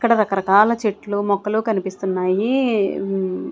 ఇక్కడ రకరకాల చెట్లు మొక్కలు కనిపిస్తున్నాయి ఉం--